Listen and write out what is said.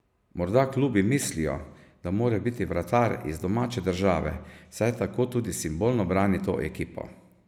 Morda klubi mislijo, da mora biti vratar iz domače države, saj tako tudi simbolno brani to ekipo.